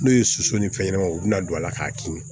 N'o ye soso ni fɛn ɲɛnamaw u bɛna don a la k'a kin